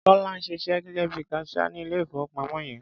Tọ́lá ń ṣiṣẹ́ gẹ́gẹ́ bí i kaṣíá ní ilé-ìfowópamọ́ yẹn.